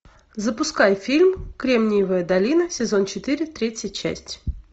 запускай фильм кремниевая долина сезон четыре третья часть